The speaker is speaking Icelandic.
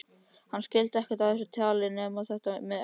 Hann skildi ekkert af þessu tali nema þetta með eggin.